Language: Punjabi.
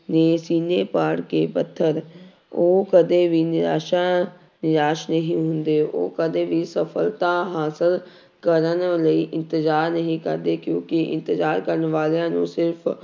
ਦੇ ਸੀਨੇ ਪਾੜ ਕੇ ਪੱਥਰ ਉਹ ਕਦੇ ਵੀ ਨਿਰਾਸ਼ਾ ਨਿਰਾਸ਼ ਨਹੀਂ ਹੁੰਦੇ ਉਹ ਕਦੇ ਵੀ ਸਫ਼ਲਤਾ ਹਾਸ਼ਿਲ ਕਰਨ ਲਈ ਇੰਤਜ਼ਾਰ ਨਹੀਂ ਕਰਦੇ ਕਿਉਂਕਿ ਇੰਤਜ਼ਾਰ ਕਰਨ ਵਾਲਿਆਂ ਨੂੰ ਸਿਰਫ਼